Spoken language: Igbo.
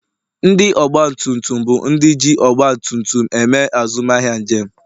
ndị ọgba tum tum bụ ndị ji ọgba tum tum eme azụmahịa njem